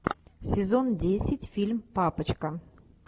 сезон десять фильм папочка